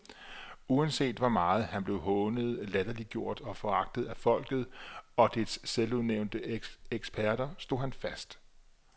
Uanset hvor meget han blev hånet, latterliggjort og foragtet af folket og dets selvudnævnte eksperter, stod han fast.